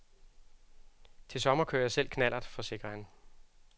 Til sommer kører jeg selv knallert, forsikrer han.